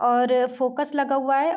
और फोकस लगा हुआ है।